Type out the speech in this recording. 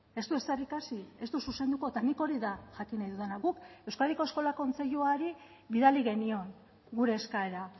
ez du ezer ikasi ez du zuzenduko eta nik hori da jakin nahi dudana guk euskadiko eskola kontseiluari bidali genion gure eskaera